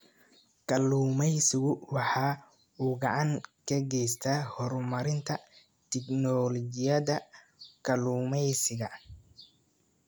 Kalluumaysigu waxa uu gacan ka geystaa horumarinta tignoolajiyada kalluumaysiga.